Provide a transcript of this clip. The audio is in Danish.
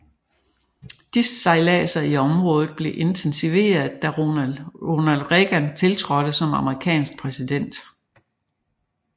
Disse sejlader i området blev intensiveret da Ronald Reagan tiltrådte som amerikansk præsident